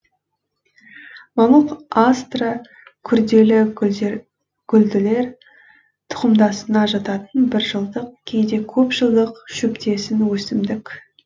мамық астра күрделі гүлділер тұқымдасына жататын бір жылдық кейде көп жылдық шөптесін өсімдік